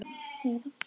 var á seyði.